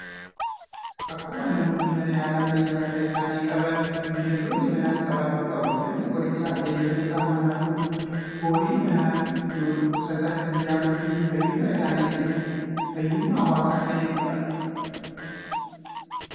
Akkuma namoonni mana yaala fayyaa mataa isaanii qaban, bineeldonni manaas qabaachuu qabu. Manni qorichaa beeyladoota manaa kun, horii manaa yoo dhukkubsatan kan yaaluu fi fayyummaa isaanii eeguun fayyummaa hawaasaa kan eegudha.